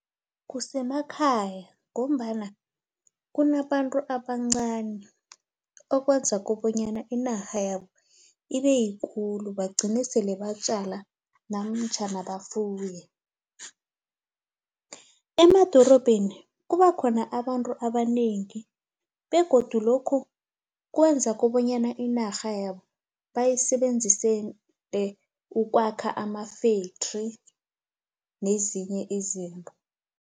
Kusemakhaya ngombana kunabantu abancani okwenza kobanyana inarha yabo ibe yikulu bagcine sele batjala namtjhana bafuye. Emadorobheni kuba khona abantu abanengi begodu lokhu kwenza kobanyana inarha yabo bayisebenzisele ukwakha ama-factory nezinye izinto.